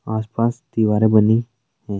आस पास दिवारे बनी हैं।